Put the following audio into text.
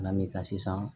N'an bɛ ka sisan